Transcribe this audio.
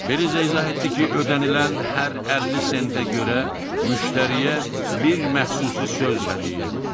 Beliza izah etdi ki, ödənilən hər 50 sentə görə müştəriyə bir məxsusi söz hədiyyə edir.